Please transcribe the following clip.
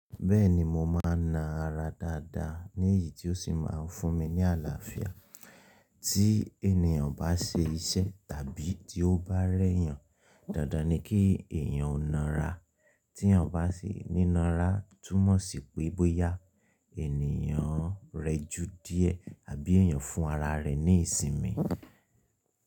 Bẹ́ẹ̀ni mo máa na ara dáadáa ní èyí tí ó sì máa ń fún mi ní àlàáfíà. Tí ènìyàn bá ṣe iṣẹ́ tàbí tí ó bá rẹ́yàn, dandan ni kí èyàn o na ara. Tí èyàn bá ṣe nína ra, túmọ̀ sí pé bóyá ènìyàn rẹ ju díẹ̀ àbí èyàn fún ara rẹ̀ ní ìsinmi.